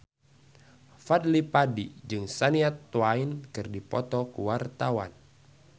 Fadly Padi jeung Shania Twain keur dipoto ku wartawan